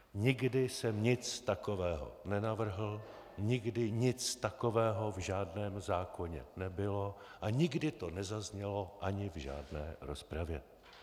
Nikdy jsem nic takového nenavrhl, nikdy nic takového v žádném zákoně nebylo a nikdy to nezaznělo ani v žádné rozpravě.